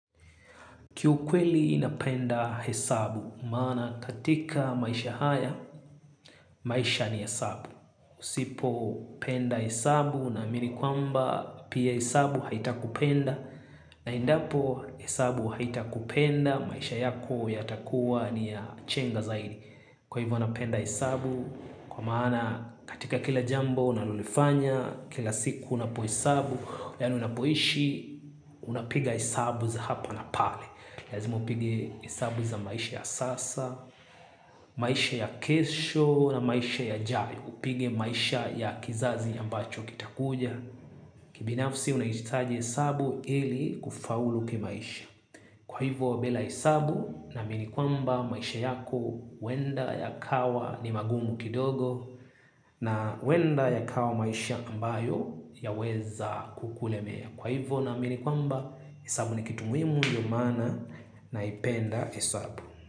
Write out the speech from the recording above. Kiu kweli napenda hesabu, maana katika maisha haya, maisha ni hesabu. Usipo penda hesabu naamini kwamba pia hesabu haitakupenda. Na endapo hesabu haitakupenda, maisha yako yatakuwa ni ya chenga zaidi. Kwa hivyo napenda hesabu, kwa maana katika kila jambo unalolifanya, kila siku unapo hesabu, yani unapoishi, unapiga hesabu za hapa na pale lazima pigi hesabu za maisha ya sasa. Maisha ya kesho na maisha ya jayo upige maisha ya kizazi ambacho kitakuja. Kibinafsi unahitaji isabu ili kufaulu kimaisha. Kwa hivo bela isabu namini kwamba maisha yako huwenda ya kawa ni magumu kidogo. Na huwenda ya kawa maisha ambayo yaweza kukulemea. Kwa hivyo naamini kwamba, hesabu ni kitumuhimu ndiyo maana naipenda hesabu.